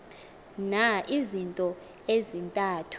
na izinto ezintathu